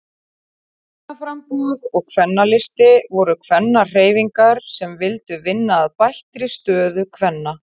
Kvennaframboð og Kvennalisti voru kvennahreyfingar sem vildu vinna að bættri stöðu kvenna.